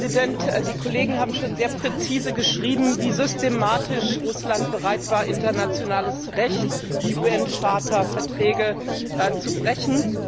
Herr Präsident! Die Kollegen haben schon sehr präzise beschrieben, wie systematisch Russland bereit war, internationales Recht die UN Charta Verträge zu brechen.